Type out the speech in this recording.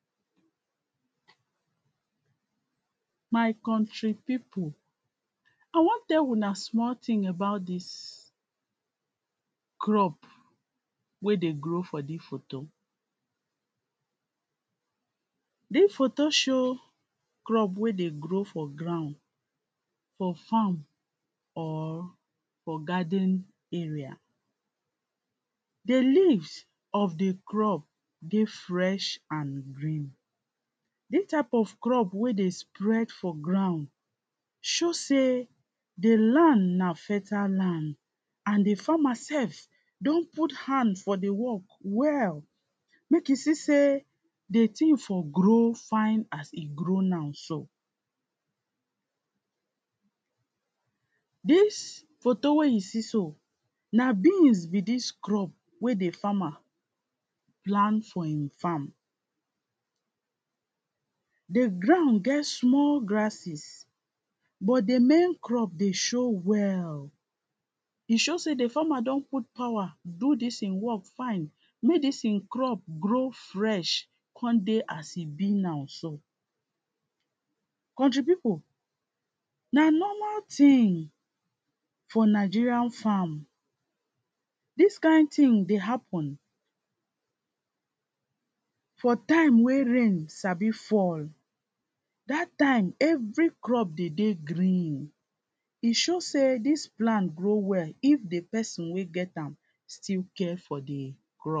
My country pipu, I wan tell una small thing about dis crop wey dey grow for dis photo. Dis photo show crop wey dey grow for ground for farm or for garden area. Di leaves of di crop dey fresh and green, dis type of crop wey dey spread for ground show sey di land na fertile land and di farmer sef don put hand for di work well, mek you see sey di thing for grow fine as e grow now so. Dis photo wey you see so, na beans be dis crop wey di farmer plant for in farm. Di ground get small grasses but di main crop dey show well, e show sey di farmer don put power do dis in work fine, mey dis in crop grow fresh con dey as e be now. Country pipu, na normal thing for Nigeria farm, dis kind thing dey happen, for time wey rain sabi fall, dat time everything dey dey green, e show sey dis plant grow well, if di person wey get am still care for di crop.